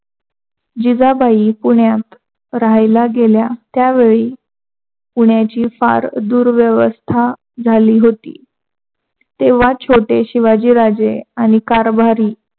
जिजाबाई पुण्यात राहायला गेल्या त्यावेळी पुण्याची फार दुर्व्यवस्था झाली होती. तेव्हा छोटे शिवाजी राजे यांनी कारभारी